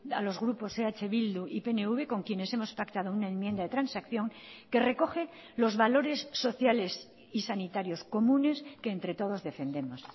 a los grupos eh bildu y pnv con quienes hemos pactado una enmienda de transacción que recoge los valores sociales y sanitarios comunes que entre todos defendemos